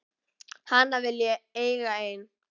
Hana vil ég eiga ein.